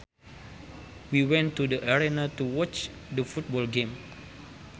We went to the arena to watch the football game